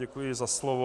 Děkuji za slovo.